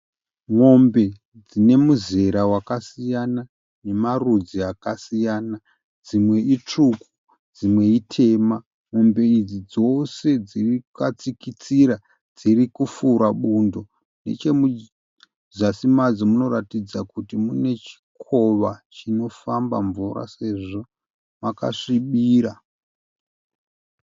Mombe dzine muzera wakasiyana nemarudzi akasiyana. Dzimwe itsvuku, dzimwe itema. Mombe idzi dzose dzakatsikitsira dziri kufura bundo. Nechemuzasi madzo munoratidza kuti mune chikova chinofamba mvura sezvo makasvibira.